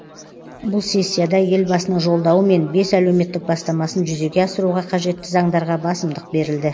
бұл сессияда елбасының жолдауы мен бес әлеуметтік бастамасын жүзеге асыруға қажетті заңдарға басымдық берілді